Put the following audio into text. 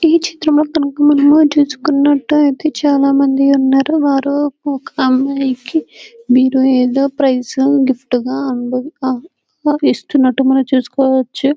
ఈ చిత్రంలో గనుక మనం చుకున్నట్లైతే చాలామంది ఉన్నారు వారు ఒక అమైయికి బీర్వా ఎదో ప్రైస్ గా గిఫ్ట్ గా ఇస్తున్నట్టు మనం చూసుకోవచ్చు .